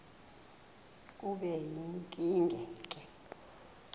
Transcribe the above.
kube yinkinge ke